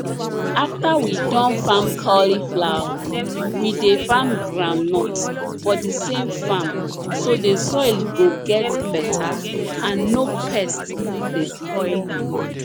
after we Accepted farm cauliflower we dey farm groundnut for the same farm so the soil go get better and no pests dey spoil food